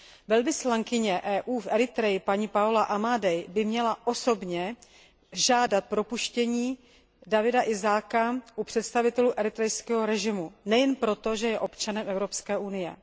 Velvyslankyně EU v Eritreji, paní Paola Amadei, by měla osobně žádat o propuštění Dawita Isaaka u představitelů eritrejského režimu, a to nejen proto, že je občanem Evropské unie.